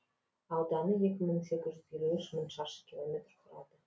ауданы екі мың сегіз жүз елу үш шаршы километр құрады